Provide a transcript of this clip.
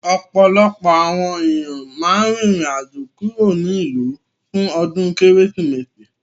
Ọ̀pọ̀lọpọ̀ àwọn èèyàn máa rìn rìn àjò kúrò nílùú fún ọdún Kérésìmesì